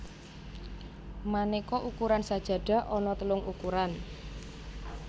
Manéka ukuran sajadah ana telung ukuran